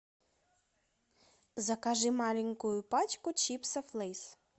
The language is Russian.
закажи маленькую пачку чипсов лейс